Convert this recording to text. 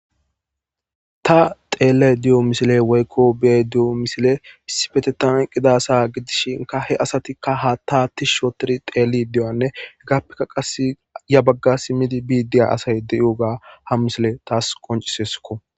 ta teele di7o misile woykko bee di7o misile pisifetetan qidasa gidishinka he asatikka ha taatti shootori teeli di7anne ggappeka qasi ya bagga simmidi biidiya asay deyuoga ha misile taas qoncisesko